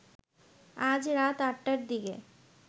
আজ রাত আটটার দিকে